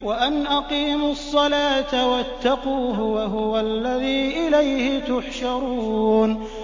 وَأَنْ أَقِيمُوا الصَّلَاةَ وَاتَّقُوهُ ۚ وَهُوَ الَّذِي إِلَيْهِ تُحْشَرُونَ